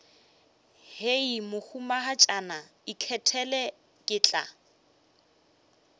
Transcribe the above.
hei mohumagatšana ikgethele ke tla